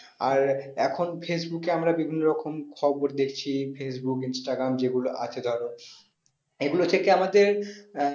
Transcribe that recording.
আর এখন ফেইসবুক এ আমরা বিভিন্ন রকম খবর দেখছি ফেইসবুক ইনস্টাগ্রাম যেগুলো আছে ধরো এগুলো থেকে আমাদের আহ